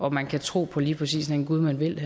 at man kan tro på lige præcis den gud man vil